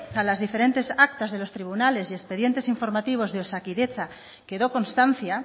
a las diferentes actas de los tribunales y expedientes informativos de osakidetza quedó constancia